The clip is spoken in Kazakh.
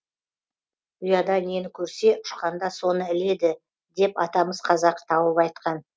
ұяда нені көрсе ұшқанда соны іледі деп атамыз қазақ тауып айтқан